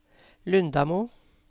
Lundamo